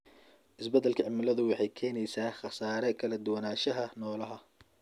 Isbeddelka cimiladu waxay keenaysaa khasaare kala duwanaanshaha noolaha.